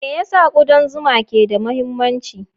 Me yasa kudan zuma ke da mahimmanci?